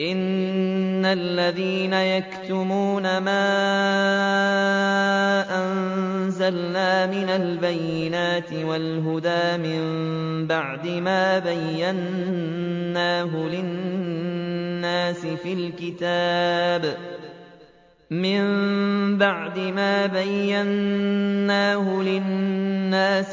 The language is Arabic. إِنَّ الَّذِينَ يَكْتُمُونَ مَا أَنزَلْنَا مِنَ الْبَيِّنَاتِ وَالْهُدَىٰ مِن بَعْدِ مَا بَيَّنَّاهُ لِلنَّاسِ